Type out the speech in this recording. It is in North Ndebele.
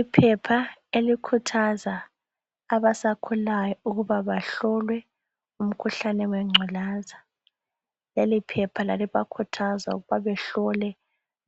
Iphepha elikhuthaza abasakhulayo ukuba bahlolwe umkhuhlane wengculaza. Leliphepha lalibakhuthaza ukuba behlole